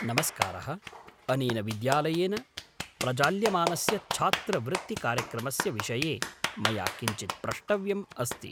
नमस्कारः, अनेन विद्यालयेन प्रजाल्यमानस्य छात्रवृत्तिकार्यक्रमस्य विषये मया किञ्चित् प्रष्टव्यम् अस्ति।